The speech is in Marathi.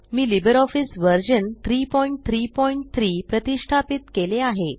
मी लिबर ऑफीस वर्जन 333 प्रतिष्ठापीत केले आहे